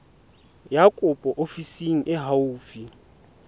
ya kopo ofising e haufi